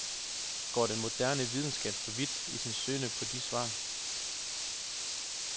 Går den moderne videnskab for vidt i sin søgen på de svar?